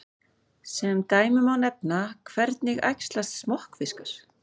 Sem dæmi má nefna: Hvernig æxlast smokkfiskar?